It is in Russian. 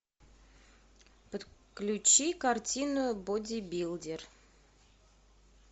подключи картину бодибилдер